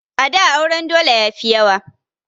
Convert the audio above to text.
A da auren dole yafi yawa